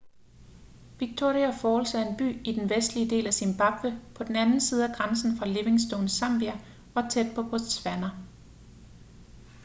victoria falls er en by i den vestlige del af zimbabwe på den anden side af grænsen fra livingstone zambia og tæt på botswana